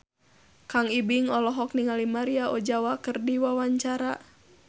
Kang Ibing olohok ningali Maria Ozawa keur diwawancara